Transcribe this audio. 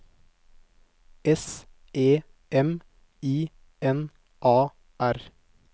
S E M I N A R